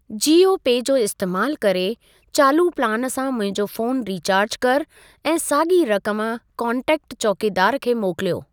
जीओपे जो इस्तेमालु करे चालू प्लान सां मुंहिंजो फ़ोन रीचार्ज कर ऐं साॻी रक़म कोन्टेक्ट चौकीदारु खे मोकिलियो।